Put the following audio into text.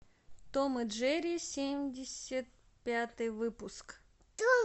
том и джерри семьдесят пятый выпуск